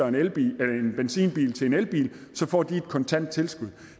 en elbil får de et kontant tilskud